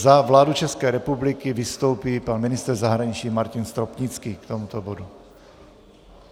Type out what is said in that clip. Za vládu České republiky vystoupí pan ministr zahraničí Martin Stropnický k tomuto bodu.